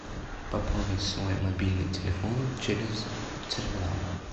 пополнить свой мобильный телефон через терминал